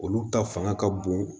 Olu ta fanga ka bon